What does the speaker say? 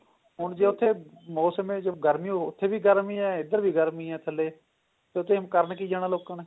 ਹੁਣ ਜੇ ਉੱਥੇ ਮੋਸਮ ਹੈ ਜੋ ਗਰਮੀ ਓ ਉੱਥੇ ਵੀ ਗਰਮੀ ਹੈ ਏਧਰ ਵੀ ਗਰਮੀ ਹੈ ਏਧਰ ਵੀ ਗਰਮੀ ਹੈ ਥੱਲੇ ਤੇ ਉੱਥੇ ਕਰਨ ਕਿ ਜਾਣਾ ਲੋਕਾ ਨੇ